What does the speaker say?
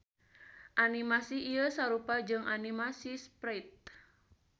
Animasi ieu sarupa jeung animasi sprite.